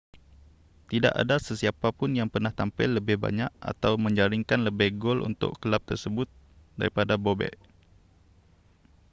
tidak ada sesiapapun yang pernah tampil lebih banyak atau menjaringkan lebih gol untuk kelab tersebut daripada bobek